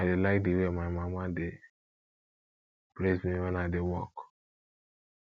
i dey like the way my mama dey praise me wen i dey work